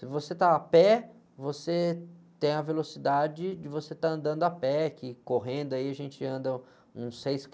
Se você está a pé, você tem a velocidade de você estar andando a pé, que correndo aí a gente anda uns seis